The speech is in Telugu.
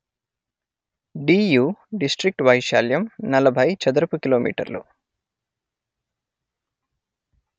డియూ డిస్ట్రిక్ వైశాల్యం నలభై చదరపుకిలోమీటర్లు